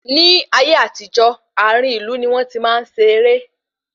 Ní ayé àtijó, àárín ìlú ní wọn tí máa ń ṣe ere